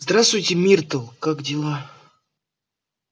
здравствуй миртл как дела